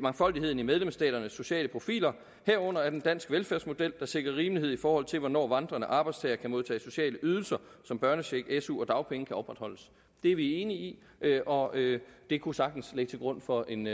mangfoldigheden i medlemsstaternes sociale profiler herunder at en dansk velfærdsmodel der sikrer rimelighed i forhold til hvornår vandrende arbejdstagere kan modtage sociale ydelser som børnecheck su og dagpenge kan opretholdes det er vi enige i og det kunne sagtens ligge til grund for en